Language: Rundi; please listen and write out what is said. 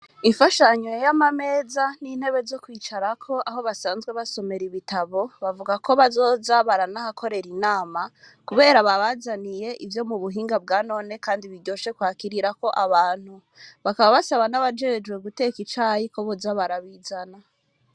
Ifashanyo y'amameza n'intebe zo kwicarako aho basanzwe basomera ibitabo bavuga ko bazoza baranahakorera inama kubera babazaniye ivyo mu buhinga bwanone kandi biryoshe kwakirirako abantu, bakaba basaba nabajejwe guteka icayi ko boza barabizana.